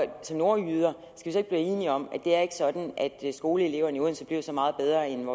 vi som nordjyder ikke være enige om at det ikke er sådan at skoleeleverne i odense bliver så meget bedre end